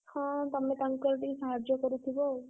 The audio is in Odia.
ହଁ ତମେ ତାଙ୍କୁ ଆଉ ଟିକେ ସାହାର୍ଯ୍ୟ କରୁଥିବ ଆଉ।